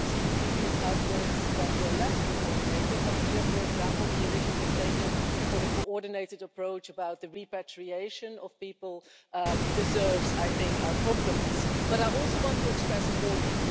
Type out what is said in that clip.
I've seen previous outbreaks that were less coordinated but here, for example, the initiative taken for the coordinated approach about the repatriation of people deserves our compliments. But I also want to express a warning.